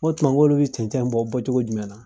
Nko o tuma olu bɛ cɛncen bɔ bɔcogo jumɛn na